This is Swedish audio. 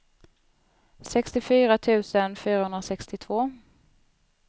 sextiofyra tusen fyrahundrasextiotvå